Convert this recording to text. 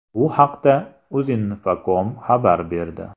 Bu haqda Uzinfocom xabar berdi .